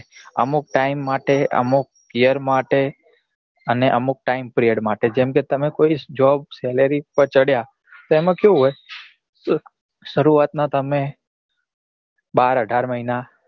અમુક time માટે અમુક year માટે અને અમુક time period માટે જેમ કે તમે job salary પર ચડ્યા તો એમાં કેવું હોય કે સરુઆત નાં તમને બાર અઢાર મહિના